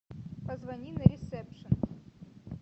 позвони на ресепшен